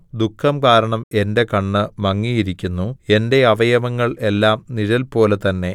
ദുഃഖം കാരണം എന്റെ കണ്ണ് മങ്ങിയിരിക്കുന്നു എന്റെ അവയവങ്ങൾ എല്ലാം നിഴൽപോലെ തന്നെ